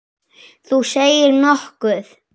Þú segir nokkuð.